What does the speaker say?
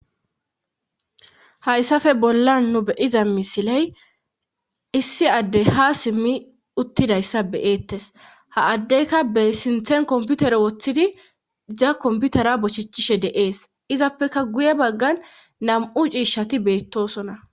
Hayssafe bollan nu beyiza misiley issi addey ha simmi uttidayssa beyeettes ha addeyka be sinthen komputere woththidi diza komputera bochichishe deees izappeka guye baggan nam7u ciishati beettosona